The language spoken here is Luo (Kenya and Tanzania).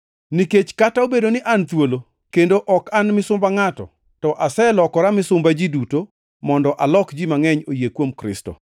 Nikech kata obedo ni an thuolo kendo ok an misumba ngʼato, to aselokora misumba ji duto mondo alok ji mangʼeny oyie kuom Kristo.